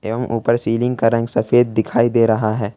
एवम ऊपर सीलिंग का रंग सफेद दिखाई दे रहा है।